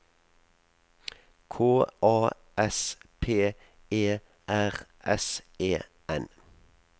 K A S P E R S E N